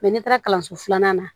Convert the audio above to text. n'i taara kalanso filanan na